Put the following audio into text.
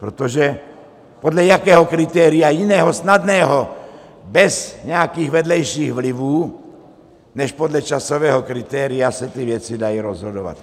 Protože podle jakého kritéria jiného, snadného, bez nějakých vedlejších vlivů než podle časového kritéria se ty věci dají rozhodovat?